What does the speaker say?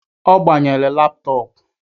Ọ gbanyere laptọọpu